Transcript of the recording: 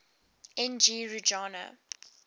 n g rjuna